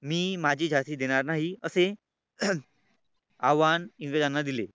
मी माझी झाशी देणार नाही असे आव्हान इंग्रजांना दिले.